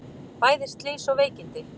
Bæði slys og veikindi